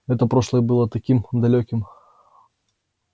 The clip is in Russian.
это прошлое было таким далёким